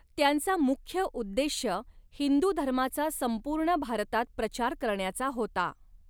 त्यांचा मुख्य उद्देश्य हिन्दु धर्माचा संपूर्ण भारतात प्रचार करण्याचा होता.